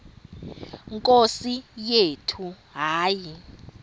nkosi yethu hayi